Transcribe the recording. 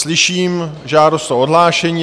Slyším žádost o odhlášení.